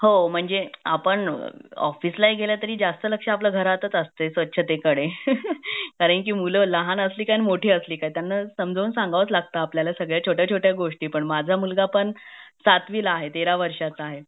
हो म्हणजे आपण ऑफिस ला ही गेलं तरी जास्त लक्ष आपला घरात असतं स्वच्छतेकडे कारण मूल लहान असली काय मोठी असली काय त्यांना समजाऊन सांगावाच लगता सगळ्या छोट्या छोट्या गोष्टी पण माझा मुलगा पण सातवी ला आहे तेरा वर्षाचा आहे